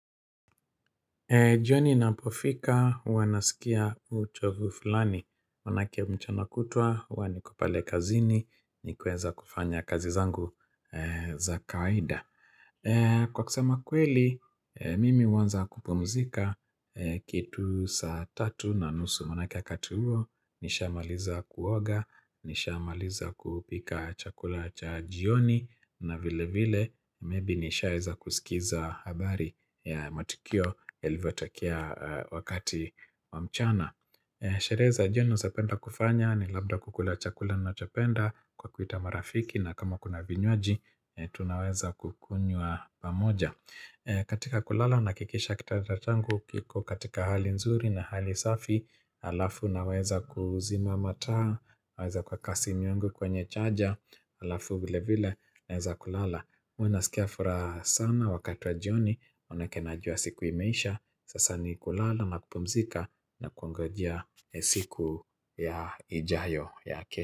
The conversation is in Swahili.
Jioni inapofika, huwa nasikia uchovu fulani, manake mchana kutwa, huwa niku pale kazini, nikiweza kufanya kazi zangu za kawaida. Kwa kusema kweli, mimi huanza kupumzika kitu saa tatu na nusu manake wakati huo nisha maliza kuoga, nisha maliza kupika chakula cha jioni na vile vile Maybe nisha weza kusikiza habari ya matukio yalivyo tokea wakati wa mchana Sherehe za jioni naezapenda kufanya, ni labda kukula chakula nachopenda kwa kuita marafiki na kama kuna vinywaji, tunaweza kukunywa pamoja katika kulala, nahakikisha kitanda changu kiko katika hali nzuri na hali safi halafu, naweza kuzima mataa, naweza kuweka simu yangu kwenye chaja halafu, vile vile, naweza kulala huwa nasikia furaha sana, wakati wa jioni, manake najua siku imeisha Sasa ni kulala na kupumzika na kuongojea siku ya ijayo ya kesho.